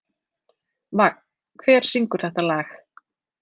Vagn, hver syngur þetta lag?